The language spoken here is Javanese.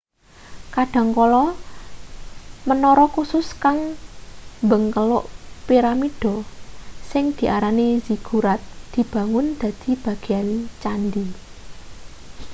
kadhangkala menara kusus kang mbengkeluk piramida sing diarani ziggurat dibangun dadi bagean candhi